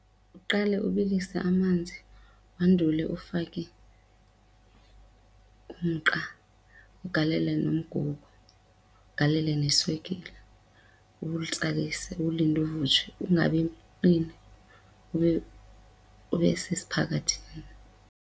Uqale ubilise amanzi wandule ufake umqa ugalele nomgubo, ugalele neswekile, uwutsalise uwulinde uvutshwe ungabi qini ube ube sesiphakathini.